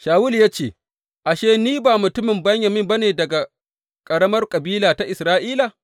Shawulu ya ce, Ashe, ni ba mutumin Benyamin ba ne daga ƙaramar kabila ta Isra’ila?